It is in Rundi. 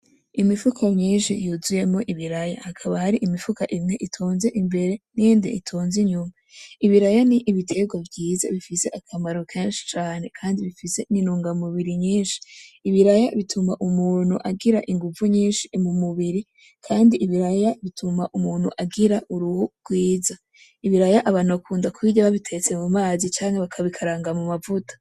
Imifuko myinshi yuzuyemo ibiraya hakaba hari imifuka imwe itonze imbere niyindi itonze inyuma. Ibiraya ni ibitegwa vyiza bifise akamaro kenshi cane kandi bifise intungamubiri nyinshi. Ibiraya bituma umuntu agira inguvu nyinshi mu mubiri kandi ibiraya bituma umuntu agira uruhu gwiza. Ibiraya abantu bakunda kubirya babitetse mu mazi canke bakabikaranga mu mavuta.